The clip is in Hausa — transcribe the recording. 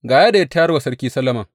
Ga yadda ya tayar wa sarki Solomon.